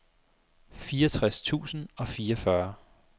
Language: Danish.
fireogtres tusind og fireogfyrre